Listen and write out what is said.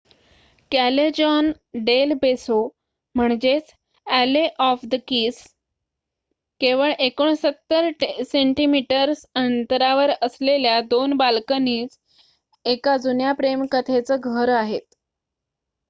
Callejon del Beso alley of the kiss. केवळ 69 centimetres अंतरावर असलेल्या 2 बाल्कनीज एका जुन्या प्रेम कथेचं घर आहेत